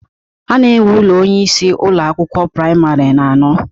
A na-enwe ụlọ onyeisi Ụlọ akwụkwọ praịmarị na-anọ